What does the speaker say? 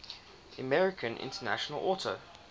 american international auto